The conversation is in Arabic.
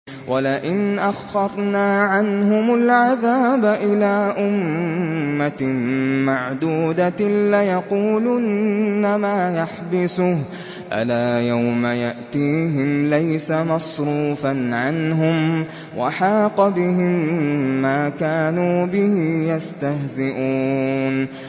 وَلَئِنْ أَخَّرْنَا عَنْهُمُ الْعَذَابَ إِلَىٰ أُمَّةٍ مَّعْدُودَةٍ لَّيَقُولُنَّ مَا يَحْبِسُهُ ۗ أَلَا يَوْمَ يَأْتِيهِمْ لَيْسَ مَصْرُوفًا عَنْهُمْ وَحَاقَ بِهِم مَّا كَانُوا بِهِ يَسْتَهْزِئُونَ